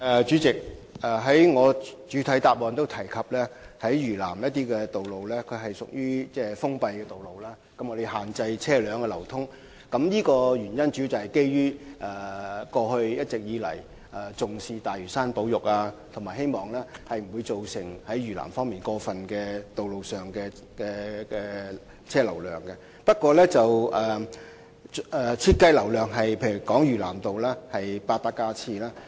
主席，我在主體答覆中也提到，有些嶼南路段屬封閉道路，車流受到限制，主要原因是政府一直重視大嶼山保育，希望嶼南路段的車流量不會過分增多，因此嶼南道的設計容車量為 8,000 架次。